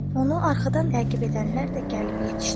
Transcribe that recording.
Onu arxadan təqib edənlər də gəlib yetişdi.